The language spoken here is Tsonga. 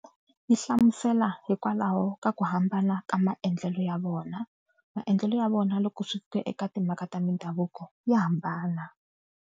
Yi hlamusela hikwalaho ka ku hambana ka maendlelo ya vona. Maendlelo ya vona loko swi ta eka timhaka ta mindhavuko ya hambana.